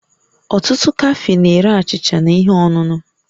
Ọtụtụ kafee na-ere achịcha na ihe ọṅụṅụ